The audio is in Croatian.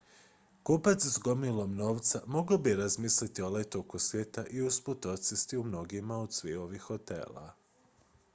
kupac s gomilom novca mogao bi razmisliti o letu oko svijeta i usput odsjesti u mnogima od ovih hotela